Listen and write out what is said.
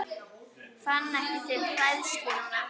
Fann ekki til hræðslu núna.